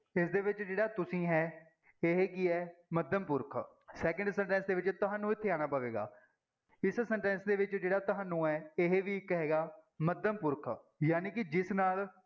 ਇਸਦੇ ਵਿੱਚ ਜਿਹੜਾ ਤੁਸੀਂ ਹੈ ਇਹ ਕੀ ਹੈ ਮੱਧਮ ਪੁਰਖ second sentence ਦੇ ਵਿੱਚ ਤੁਹਾਨੂੰ ਇੱਥੇ ਆਉਣਾ ਪਵੇਗਾ, ਇਸ sentence ਦੇ ਵਿੱਚ ਜਿਹੜਾ ਤੁਹਾਨੂੰ ਹੈ ਇਹ ਵੀ ਇੱਕ ਹੈਗਾ ਮੱਧਮ ਪੁਰਖ, ਜਾਣੀ ਕਿ ਜਿਸ ਨਾਲ